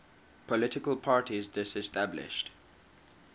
political parties disestablished